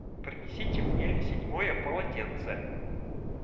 принесите мне седьмое полотенце